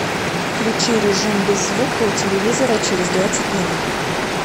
включи режим без звука у телевизора через двадцать минут